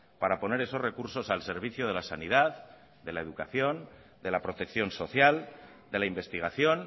para poner esos recursos al servicio de la sanidad de la educación de la protección social de la investigación